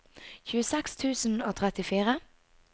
tjueseks tusen og trettifire